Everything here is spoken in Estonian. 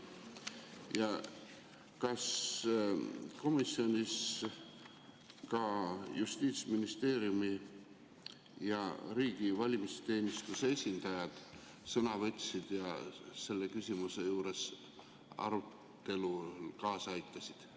Kas komisjonis ka Justiitsministeeriumi ja riigi valimisteenistuse esindajad sõna võtsid ja selle küsimuse arutelule kaasa aitasid?